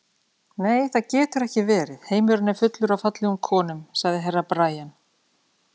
Nei, það getur ekki verið, heimurinn er fullur af fallegum konum, sagði Herra Brian.